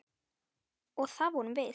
Og það vorum við.